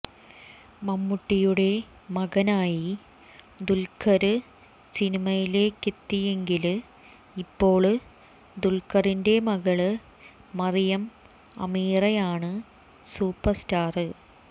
മമ്മൂട്ടിയുടെ മകനായി ദുല്ഖര് സിനിമയിലേക്കെത്തിയെങ്കില് ഇപ്പോള് ദുല്ഖറിന്റെ മകള് മറിയം അമീറയാണ് സൂപ്പര് സ്റ്റാര്